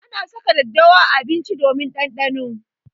Ana saka daddawa a abinci domin ɗanɗano.